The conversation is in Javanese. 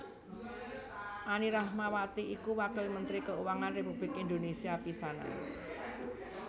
Anny Ratnawati iku Wakil Mentri Kauangan Republik Indonésia pisanan